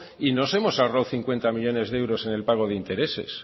y nos hemos ahorrado cincuenta millónes de euros en el pago de intereses